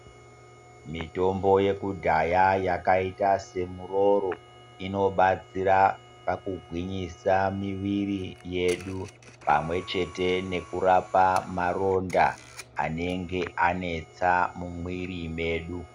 Mitombo yakudhaya yakaita semuroro inobatsera pakugwinyisa miviri yedu, pamwechete nekurapa maronda anenge anesa mumwiri medu.